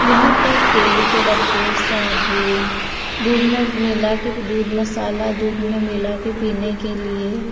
यहां पर तेल के डब्बे साबुन दूध में मिला के दूध मसाला दूध में मिला के पीने के लिए --